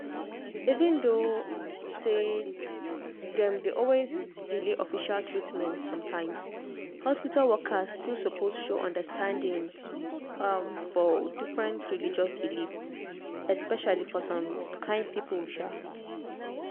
even though um dem dey always delay official treatment sometimes hospital workers still suppose show understanding um for different religious belief especially for some kind people. um